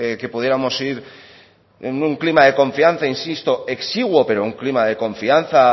que pudiéramos ir en un clima de confianza insisto exiguo pero un clima de confianza